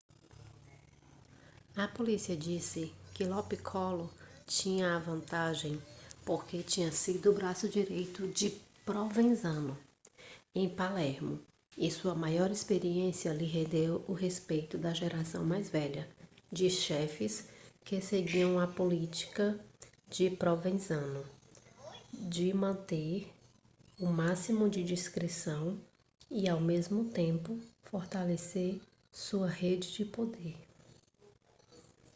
a polícia disse que lo piccolo tinha a vantagem porque tinha sido o braço direito de provenzano em palermo e sua maior experiência lhe rendeu o respeito da geração mais velha de chefes que seguiam a política de provenzano de manter o máximo de discrição e ao mesmo tempo fortalecer sua rede de poder